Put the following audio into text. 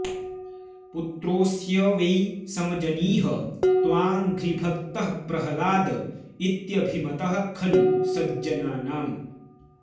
पुत्रोऽस्य वै समजनीह तवाङ्घ्रिभक्तः प्रह्लाद इत्यभिमतः खलु सज्जनानाम्